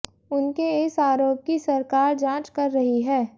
उनके इस आरोप की सरकार जांच कर रही है